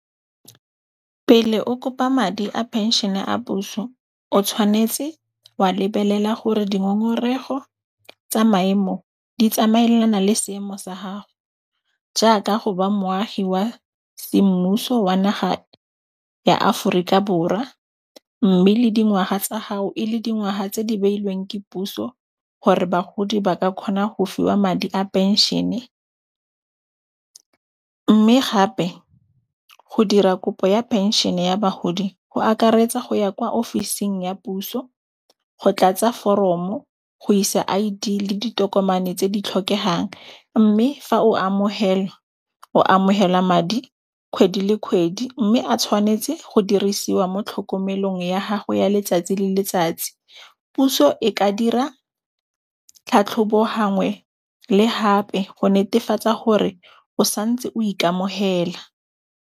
Pele o kopa madi a phenšene a puso, o tshwanetse wa lebelela gore dingongorego tsa maemo di tsamaelana le seemo sa hago, jaaka go ba moagi wa semmuso wa naha ya Aforika Borwa, mme le dingwaha tsa gago e le dingwaha tse di beilweng ke puso hore bagodi ba ka kgona go fiwa madi a phenšene. Mme gape go dira kopo ya phenšene ya bagodi ho akaretsa ho ya kwa ofising ya puso, go tlatsa foromo, go isa I_D le ditokomane tse di tlhokehang, mme fa o amohelwa o amohela madi kgwedi le kgwedi mme a tshwanetse go dirisiwa mo tlhokomelong ya gago ya letsatsi le letsatsi, puso e ka dira tlhatlhobo hangwe le hape go netefatsa hore o santse o ikamohela.